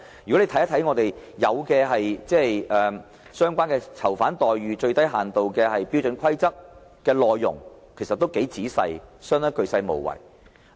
如果大家看看《囚犯待遇最低限度標準規則》的內容，其實都很仔細，相當鉅細無遺。